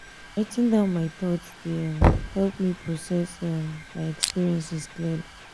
writing down my thoughts dey help um me um process um my experiences clearly.